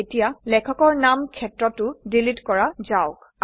এতিয়া লেখকৰ নাম ক্ষেত্ৰটো ডিলিট কৰা যাওক